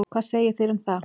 Hvað segið þér um það?